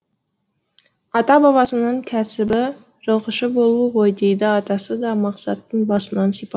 ата бабасының кәсібі жылқышы болу ғой дейді атасы да мақсаттың басынан сипап